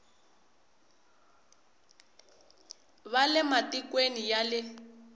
va le matikweni ya le